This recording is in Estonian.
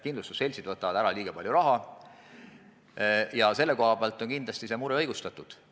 Kindlustusseltsid võtavad ära liiga palju raha, nii et see mure on igati õigustatud.